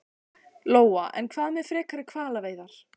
Lóa: En hvað með frekari hvalveiðar?